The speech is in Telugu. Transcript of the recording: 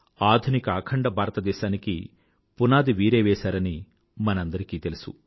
ఆధునిక అఖండ భారతదేశానికి పునాది వీరే వేసారని మనందరికీ తెలుసు